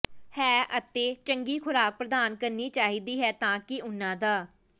ਹੈ ਅਤੇ ਚੰਗੀ ਖੁਰਾਕ ਪ੍ਰਦਾਨ ਕਰਨੀ ਚਾਹੀਦੀ ਹੈ ਤਾਂ ਕਿ ਉਹਨਾਂ ਦਾ